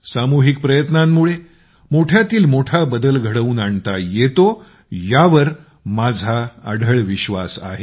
सामूहिक प्रयत्नांमुळे मोठ्यातील मोठा बदल घडवून आणता येतो यावर माझा अढळ विश्वास आहे